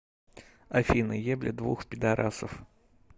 афина ебля двух пидарасов